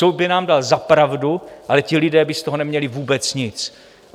Soud by nám dal za pravdu, ale ti lidé by z toho neměli vůbec nic.